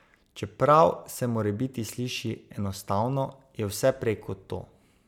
Čeprav se morebiti sliši enostavno, je vse prej kot to.